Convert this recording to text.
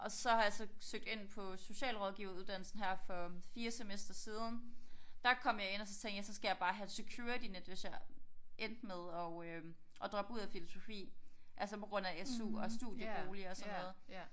Og så har jeg så søgt ind på socialrådgiver uddannelsen her for 4 semestre siden der kom jeg ind og så tænkte jeg så skal jeg bare have et security net hvis jeg endte med og øh at droppe ud af filosofi altså på grund af SU og studiebolig og sådan noget